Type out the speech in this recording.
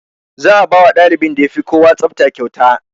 Za a bawa ɗalibin da yafi kowa tsafta kyauta